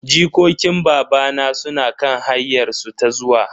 Jikokin babana suna kan hanyar su ta zuwa.